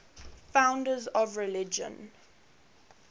founders of religions